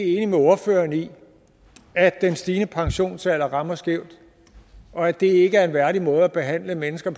enig med ordføreren i at den stigende pensionsalder rammer skævt og at det ikke er en værdig måde at behandle mennesker